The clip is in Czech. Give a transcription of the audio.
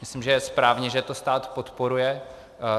Myslím, že je správně, že to stát podporuje.